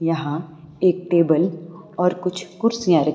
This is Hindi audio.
यहां एक टेबल और कुछ कुर्सियां र--